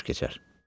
Günün xoş keçər.